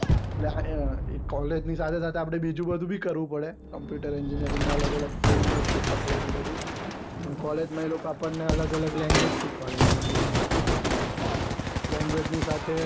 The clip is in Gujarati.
કૉલેજ ની સાથે સાથે આપડે બીજું બધું બી કરવું પડે compute engineering માં અલગ અલગ team work શીખવાડે ને બધું ને કૉલેજ માં એ લોકો આપડને અલગ અલગ language શીખવાડે પછી language ની સાથે